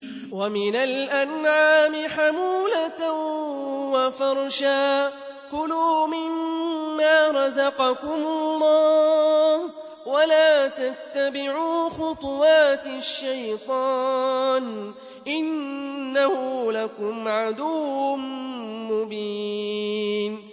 وَمِنَ الْأَنْعَامِ حَمُولَةً وَفَرْشًا ۚ كُلُوا مِمَّا رَزَقَكُمُ اللَّهُ وَلَا تَتَّبِعُوا خُطُوَاتِ الشَّيْطَانِ ۚ إِنَّهُ لَكُمْ عَدُوٌّ مُّبِينٌ